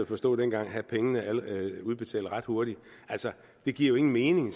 forstå dengang have pengene udbetalt ret hurtigt altså det giver jo ingen mening